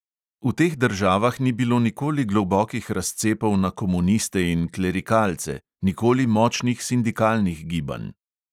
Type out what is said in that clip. V teh državah ni bilo nikoli globokih razcepov na komuniste in klerikalce, nikoli močnih sindikalnih gibanj.